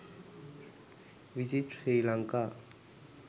visit sri lanka